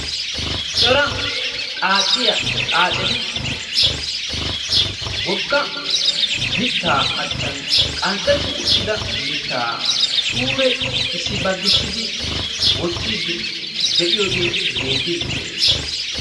Cora xaaciya xaaceti wogga mittaa achchan qanxxetti uttida mittaa suure issi baggissidi wottiiddi de'yoogee beettiiddi de'ees.